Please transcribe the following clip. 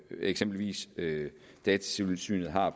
eksempelvis datatilsynet har